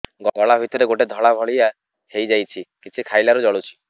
ଗଳା ଭିତରେ ଗୋଟେ ଧଳା ଭଳିଆ ହେଇ ଯାଇଛି କିଛି ଖାଇଲାରୁ ଜଳୁଛି